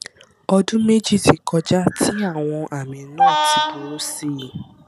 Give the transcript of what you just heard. ọdún méjì ti kọjá tí àwọn àmì náà ti burú sí i